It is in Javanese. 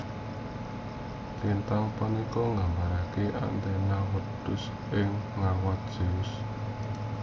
Lintang punika nggambaraken Amalthaea wedhus ingkang ngrawat Zeus